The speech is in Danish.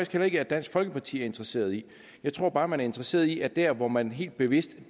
heller ikke at dansk folkeparti er interesseret i jeg tror bare at man er interesseret i at der hvor man helt bevidst